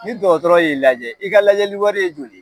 Ni dɔgɔtɔrɔ y'i lajɛ, i ka lajɛli wari ye joli ye?